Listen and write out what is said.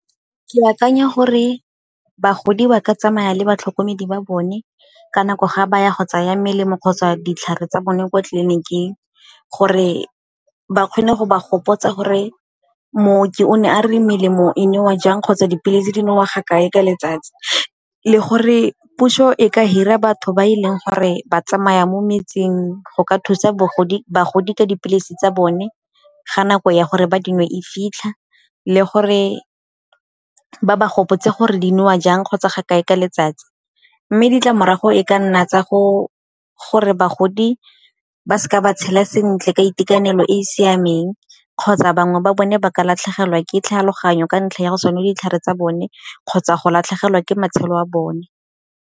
Ke akanya gore bagodi ba ka tsamaya le batlhokomedi ba bone ka nako ga baya go tsaya melemo kgotsa ditlhare tsa bone kwa tleliniking, gore ba kgone go ba gopotsa gore mmooki o ne a re melemo e newa jang kgotsa dipilisi dinowa ga kae ka letsatsi. Le gore puso e ka hira batho ba e leng gore ba tsamaya mo metsing go ka thusa bagodi ka dipilisi tsa bone ga nako ya gore ba dinngwe e fitlha le gore ba ba gopotse gore di newa jang kgotsa ga kae ka letsatsi. Mme ditlamorago e ka nna tsa gore bagodi ba seka ba tshela sentle ka itekanele e e siameng kgotsa bangwe ba bone ba ka latlhegelwa ke tlhaloganyo ka ntlha ya go sa nwe ditlhare tsa bone kgotsa go latlhegelwa ke matshelo a bone.